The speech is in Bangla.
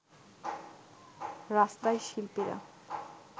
রাস্তায় শিল্পীরা